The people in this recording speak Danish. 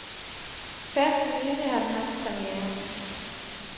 Først for nylig har den haft premiere.